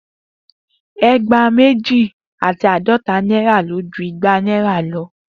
Egba meji ati aadota naira lo ju igba naira lo.